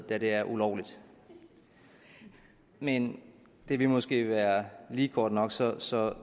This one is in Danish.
da det er ulovligt men det ville måske være lige kort nok så så